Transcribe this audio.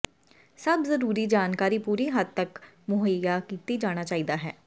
ਸਭ ਜਰੂਰੀ ਜਾਣਕਾਰੀ ਪੂਰੀ ਹੱਦ ਤੱਕ ਮੁਹੱਈਆ ਕੀਤਾ ਜਾਣਾ ਚਾਹੀਦਾ ਹੈ